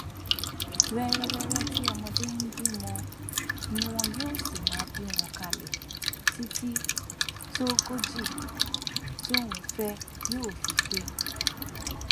wẹrẹwẹrẹ tí ọmọdé ń bímọ ni wọn yóò sì máa bí wọn kalẹ títí tóńgòjí tóun fẹ yóò fi pé